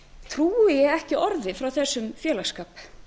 trúi ég ekki orði frá þessum félagsskap